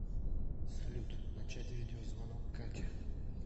салют начать видеозвонок кате